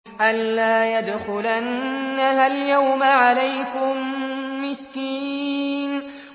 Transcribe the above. أَن لَّا يَدْخُلَنَّهَا الْيَوْمَ عَلَيْكُم مِّسْكِينٌ